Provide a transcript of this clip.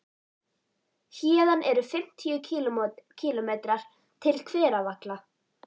Héðan eru um fimmtíu kílómetrar til Hveravalla.